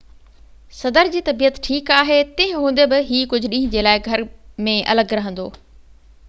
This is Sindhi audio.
صدر جي طبيعت ٺيڪ آهي تنهن هوندي بہ هي ڪجهہ ڏينهن جي لاءِ گهر ۾ الڳ رهندو